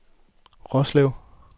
Roslev